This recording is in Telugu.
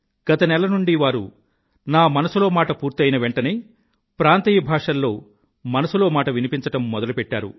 గత నెల నుండీ వారు నా మనసులో మాట పూర్తి అయిన వెంఠనే ప్రాంతీయ భాషల్లో మనసులో మాట వినిపించడం మొదలుపెట్టారు